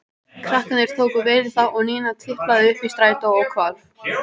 Krakkarnir tóku vel í það og Nína tiplaði upp í strætó og hvarf.